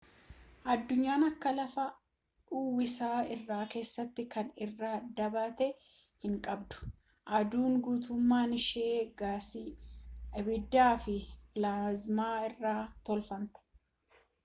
aduun akka lafaa uwwisa irra keessaa kan irra dhaabatan hinqabdu aduun guutummaan ishee gaasii ibiddaafi pilaazmaa irraa tolfamte